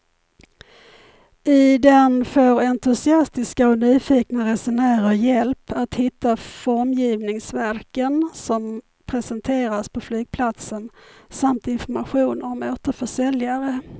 I den får entusiastiska och nyfikna resenärer hjälp att hitta formgivningsverken som presenteras på flygplatsen samt information om återförsäljare.